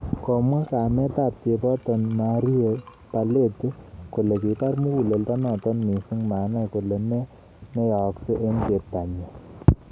Komwa kamet ab cheboto Marie Barlett kole kibar muguleldo noto missing manai kole ne neyaaksin chebtanyi